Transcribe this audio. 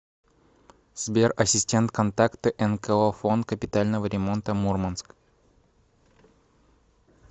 сбер ассистент контакты нко фонд капитального ремонта мурманск